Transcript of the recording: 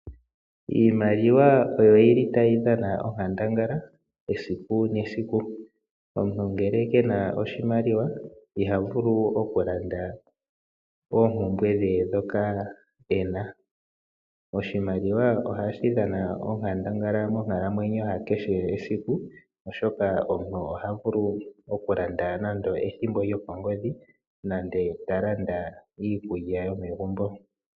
Iimaliwa oyo tayi dhana onkandangala esiku nesiku. Omuntu ngele kena oshimaliwa iha vulu okulanda oompumbwe dhe ndhoka ena. Oshimaliwa ohashi dhana onkandangala esiku kehe oshoka omuntu oha vulu okulanda ethimbo lyokongodhi nande ta landa iikulya yomegumbo.